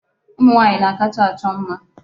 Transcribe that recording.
Ụmụ nwaanyị na-akacha achọ mma.